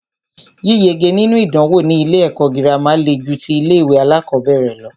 Yíyege nínú ìdánwò ní ilé ẹ̀kọ́ gírámà le ju tí ilé ìwé alákọ̀berẹ̀ lọ.